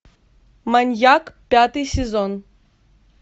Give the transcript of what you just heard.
маньяк пятый сезон